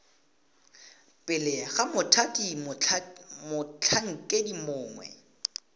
pele ga mothati motlhankedi mongwe